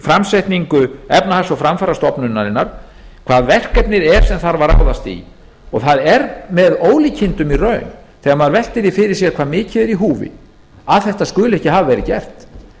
framsetningu efnahags og framfarastofnunarinnar hvað verkefnið er sem þarf að ráðast í og það er með ólíkindum í raun þegar maður veltir því fyrir sér hvað mikið er í húfi að þetta skuli ekki hafa verið gert